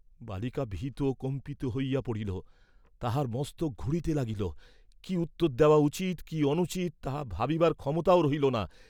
বালিকা ভীত কম্পিত হইয়া পড়িল, তাহার মস্তক ঘুরিতে লাগিল, কি উত্তর দেওয়া উচিত, কি অনুচিত, তাহা ভাবিবার ক্ষমতাও রহিল না।